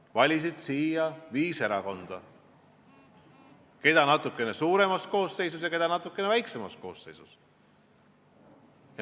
Nad valisid siia viis erakonda, keda natuke suuremas koosseisus ja keda natuke väiksemas koosseisus.